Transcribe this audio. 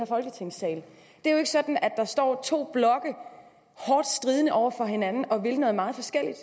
i folketingssalen det er jo ikke sådan at der står to blokke hårdt stridende over for hinanden og vil noget meget forskelligt